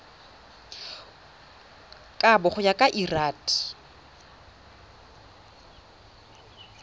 kabo go ya ka lrad